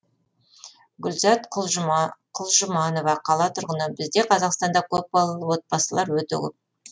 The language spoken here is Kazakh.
гүлзат құлжұманова қала тұрғыны бізде қазақстанда көпбалалы отбасылар өте көп